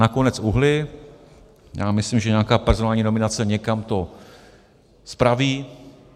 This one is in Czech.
Nakonec uhnuli, já myslím, že nějaká personální nominace někam to spraví.